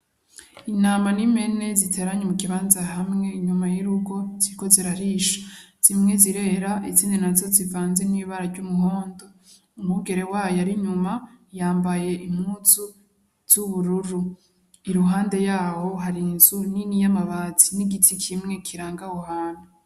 Intama n'impene zitaranye mukibanza hamwe inyuma y'urugo ziriko zirarisha. Zimwe zirera izindi nazo zivanze n'ibara ry'umuhondo. Umwungere wazo ar'inyuma yambaye impuzu z'ubururu. I ruhande yaho hari inzu nini y'amabati n'igiti kimwe kiranga aho hantu.